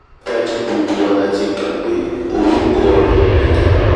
dájúdájú gbogbo wa la ti gbà pé orúkọ rẹ̀ nìyen